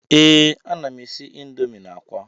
Ee, ana m n'esi Indomi na akwa